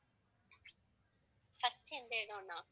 first எந்த இடம்னா